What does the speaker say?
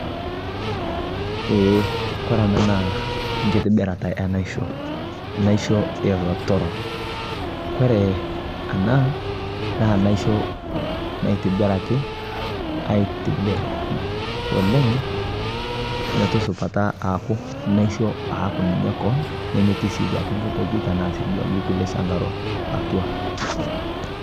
kore anaa naa nkitibirataa ee naishoo eelotoro, keitibiraki anaa aishoo metaa metii lchangaroo